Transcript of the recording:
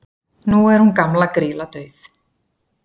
nú er hún gamla grýla dauð